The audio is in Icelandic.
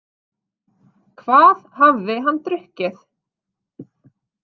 Hvað hafði hann drukkið?